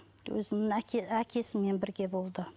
өзінің әкесімен бірге болды